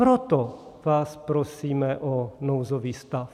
Proto vás prosíme o nouzový stav.